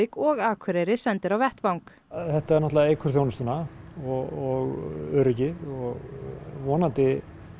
og Akureyri sendir á vettvang þetta náttúrulega eykur þjónustuna og öryggið og vonandi